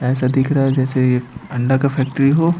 ऐसा दिख रहा है जैसे एक अंडा का फैक्ट्री हो।